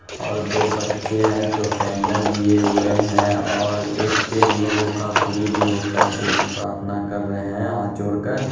और दो बच्चे हैं जो केंडल लिए हुए हैं और एक उन लोगों का गुरु जी होता है जो प्रार्थना कर रहे हैं हाथ जोड़ कर --